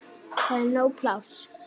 Það er nóg pláss.